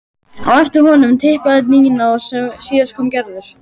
Á eftir honum tiplaði Nína og síðust kom Gerður.